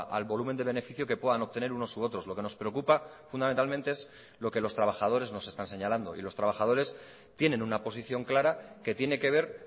al volumen de beneficio que puedan obtener unos u otros lo que nos preocupa fundamentalmente es lo que los trabajadores nos están señalando y los trabajadores tienen una posición clara que tiene que ver